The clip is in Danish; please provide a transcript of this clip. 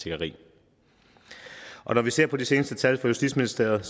tiggeri og når vi ser på de seneste tal fra justitsministeriet